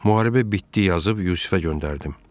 Müharibə bitdi yazıb Yusifə göndərdim.